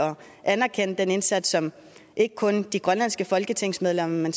anerkende den indsats som ikke kun de grønlandske folketingsmedlemmer men